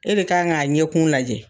E de kan k'a ɲɛkun lajɛ.